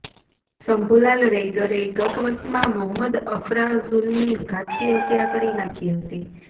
શંભૂલાલ રૈગરે ગત વર્ષમાં મોહમદ અફરાઝુલની ઘાતકી હત્યા કરી નાખી હતી